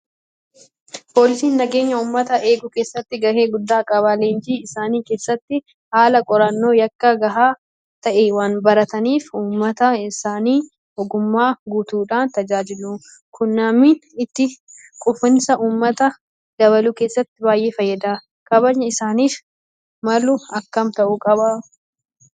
Poolisiin nageenya uummataa eeguu keessatti gahee guddaa qaba. Leenjii isaanii keessatti haala qorannoo yakkaa gahaa ta'e waanbarataniif uummata isaanii ogummaa guutuudhaan tajaajilu. Kunimmii itti quufinsa uummataa dabaluu keessatti baay'ee fayyada. Kabajni isaaniif malu akkam ta'uu qaba?